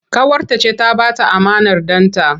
Ƙawarta ce ta ba ta amanar ɗanta.